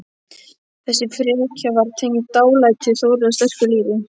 Þessi frekja var tengd dálæti Þórðar á sterku lífi.